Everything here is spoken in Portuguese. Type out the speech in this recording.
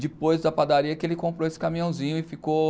Depois da padaria que ele comprou esse caminhãozinho e ficou...